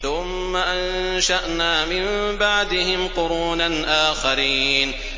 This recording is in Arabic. ثُمَّ أَنشَأْنَا مِن بَعْدِهِمْ قُرُونًا آخَرِينَ